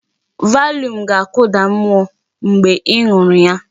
Valium ga-akụda mmụọ mgbe ị ṅụrụ ya.